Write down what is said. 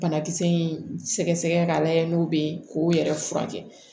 Banakisɛ in sɛgɛsɛgɛ k'a lajɛ n'o bɛ ye k'o yɛrɛ furakɛ